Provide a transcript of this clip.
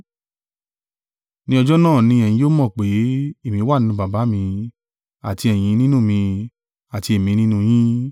Ní ọjọ́ náà ni ẹ̀yin yóò mọ̀ pé, èmi wà nínú Baba mi, àti ẹ̀yin nínú mi, àti èmi nínú yín.